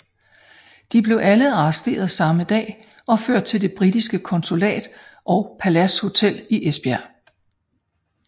De blev alle arresteret samme dag og ført til det britiske konsulat og Palads Hotel i Esbjerg